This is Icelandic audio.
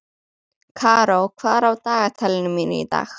Karó, hvað er á dagatalinu mínu í dag?